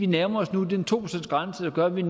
nærmer os den to procentsgrænse der gør at vi